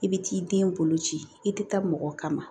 I bɛ t'i den bolo ci i tɛ taa mɔgɔ kama